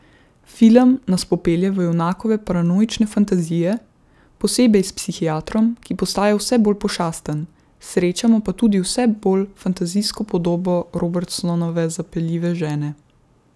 Film nas popelje v junakove paranoične fantazije, posebej s psihiatrom, ki postaja vse bolj pošasten, srečamo pa tudi vsej bolj fantazijsko podobo Robertsonove zapeljive žene.